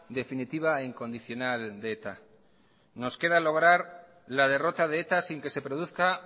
definitiva e incondicional de eta nos queda lograr la derrota de eta sin que se produzca